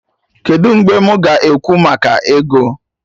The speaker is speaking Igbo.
Kedụ mgbe mụ ga-ekwu maka ego?